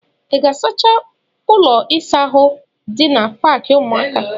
Ị ga-asacha ụlọ ịsa ahụ dị na paakị ụmụaka?